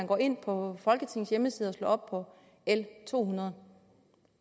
går ind på folketingets hjemmeside og slår op på l to hundrede